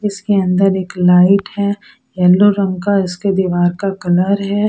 इसके अंदर एक लाइट है येलो रंग का इसके दीवार का कलर है।